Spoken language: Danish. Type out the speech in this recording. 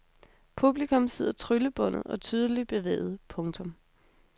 Publikum sidder tryllebundet og tydeligt bevæget. punktum